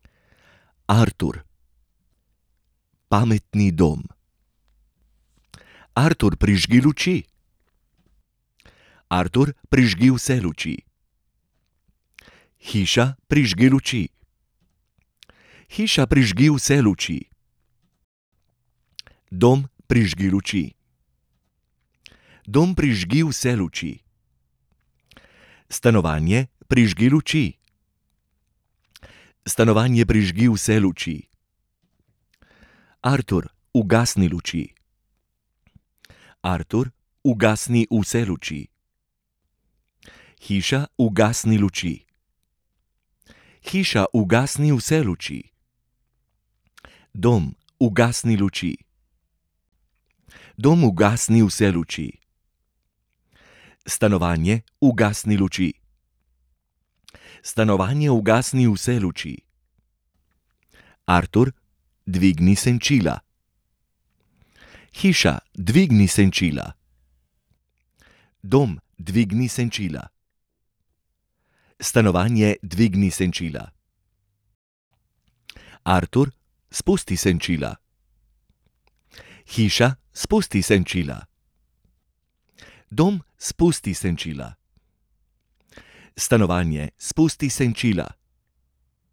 Artur. Pametni dom. Artur, prižgi luči. Artur, prižgi vse luči. Hiša, prižgi luči. Hiša, prižgi vse luči. Dom, prižgi luči. Dom, prižgi vse luči. Stanovanje, prižgi luči. Stanovanje, prižgi vse luči. Artur, ugasni luči. Artur, ugasni vse luči. Hiša, ugasni luči. Hiša, ugasni vse luči. Dom, ugasni luči. Dom, ugasni vse luči. Stanovanje, ugasni luči. Stanovanje, ugasni vse luči. Artur, dvigni senčila. Hiša, dvigni senčila. Dom, dvigni senčila. Stanovanje, dvigni senčila. Artur, spusti senčila. Hiša, spusti senčila. Dom, spusti senčila. Stanovanje, spusti senčila.